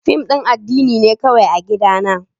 Fim din addini ne kawai a gidana.